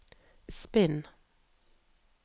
spinn